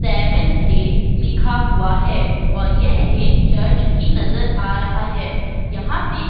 Seventh day लिखा हुआ है और यह एक चर्च भी नजर आ रहा है। यहाँ पे --